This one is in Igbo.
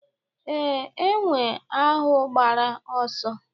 Ee, enwe ahụ gbara ọsọ.